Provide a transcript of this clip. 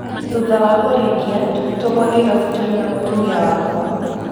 Thutha wa kũrĩkia, tũgĩtũmwo Nairobi tũrĩ na mũtumia wakwa.